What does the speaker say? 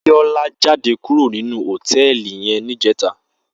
Biola jàdé kúró ninú hótèlí yèn nijètá